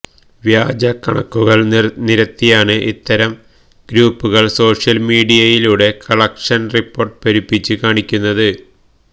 വ്യാജ കണക്കുകള് നിരത്തിയാണ് ഇത്തരം ഗ്രൂപ്പുകള് സോഷ്യല് മീഡിയയിലൂടെ കളക്ഷന് റിപ്പോര്ട്ട് പെരുപ്പിച്ച് കാണിക്കുന്നത്